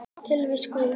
Tilvist Guðs